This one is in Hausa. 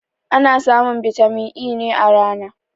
Ana samun bitamin E ne a rana